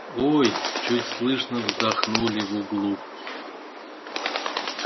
ой чуть слышно вздохнули в углу